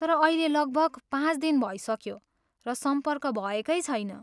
तर अहिले लगभग पाँच दिन भइसक्यो र सम्पर्क भएकै छैन।